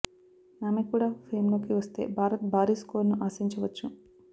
ఆమె కూడా ఫేమ్ లోకి వస్తే భారత్ భారీ స్కోరును ఆశించవచ్చు